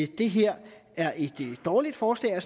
det her er et dårligt forslag og